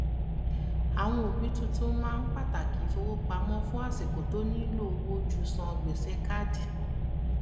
àwọn òbí túntún máa ń pàtàkì ìfowópamọ fún àsìkò tó nílò owó ju san gbèsè káàdì